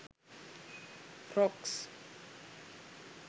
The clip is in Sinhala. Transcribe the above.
frocks